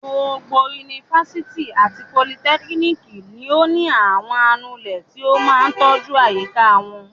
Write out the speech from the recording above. Gbogbo yunifásitì àti politẹ́kíníkì ni ó ní àwọn anulẹ̀ tí ó máa tọ́jú àyíká wọn.